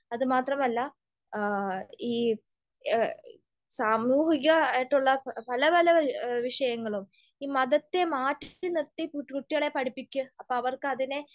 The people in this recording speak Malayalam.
അതുമാത്രമല്ല ഈ സാമൂഹികമായിട്ടുള്ള പല പല വിഷയങ്ങളും ഈ മതത്തെ മാറ്റി നിർത്തി കുട്ടികളെ പഠിപ്പിക്ക്. അപ്പൊ അവർക്ക് അതിനെ